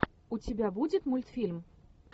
у тебя будет мультфильм